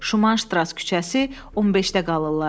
Şuman Ştras küçəsi, 15-də qalırlar.